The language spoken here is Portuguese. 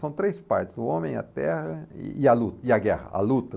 São três partes, o homem e a terra e e a luta e a guerra, a luta.